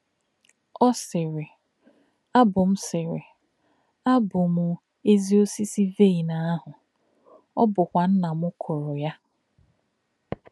Ó̄ sị̀rị̀: “Àbụ̀ m sị̀rị̀: “Àbụ̀ m èzì ọ̀sísì̄ vaịn àhū̄, ó̄ bụ́kwà̄ Nnā m kụ̀rù̄ yá̄.